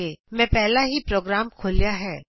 000308 000307 ਮੈਂ ਪਹਿਲਾਂ ਹੀ ਪ੍ਰੋਗਰਾਮ ਖੋਲ੍ਹਿਆ ਹੈ